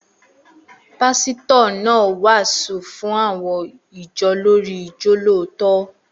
Pásítọ̀ náà wàásù fún àwọn ìjọ lórii ijolootọ